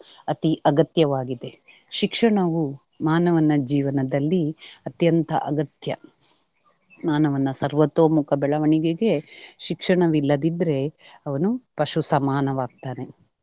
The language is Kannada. ಅತೀ ಅಗತ್ಯವಾಗಿದೆ. ಶಿಕ್ಷಣವು ಮಾನವನ ಜೀವನದಲ್ಲಿ ಅತ್ಯಂತ ಅಗತ್ಯ . ಮಾನವನ ಸವ್ರೊತೊಮುಖ ಬೆಳವಣಿಗೆಗೆ ಶಿಕ್ಷಣವಿಲ್ಲದಿದ್ದರೆ ಅವನು ಪಶು ಸಮಾನವಾಗ್ತಾನೆ.